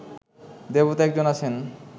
দেবতা এক জন আছেন